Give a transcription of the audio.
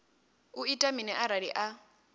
u ita mini arali a